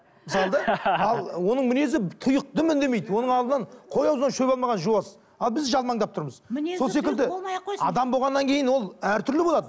мысалы да ал оның мінезі тұйық дым үндемейді оның қой аузынан шөп алмаған жуас ал біз жалмандап тұрмыз сол секілді адам болғаннан кейін әртүрлі болады